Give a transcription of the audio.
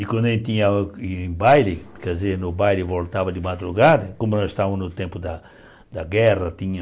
E quando a gente ia em baile, quer dizer, no baile voltava de madrugada, como nós estávamos no tempo da da guerra, tinha...